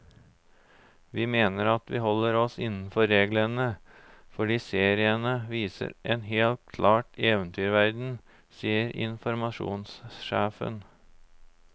Vi mener at vi holder oss innenfor reglene, fordi seriene viser en helt klar eventyrverden, sier informasjonssjefen.